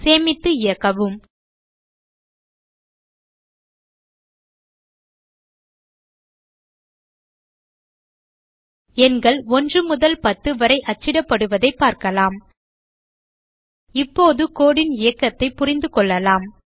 சேமித்து இயக்கவும் எண்கள் 1 முதல் 10 வரை அச்சிடப்படுவதைப் பார்க்கலாம் இப்போது கோடு ன் இயக்கத்தைப் புரிந்து கொள்ளலாம்